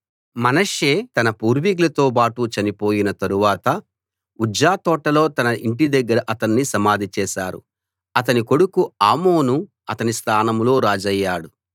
మనష్షే తన పూర్వీకులతో బాటు చనిపోయిన తరువాత ఉజ్జా తోటలో తన ఇంటి దగ్గర అతణ్ణి సమాధి చేశారు అతని కొడుకు ఆమోను అతని స్థానంలో రాజయ్యాడు